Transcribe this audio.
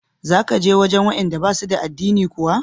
Za ka je wajen waɗanda ba su da addini kuwa?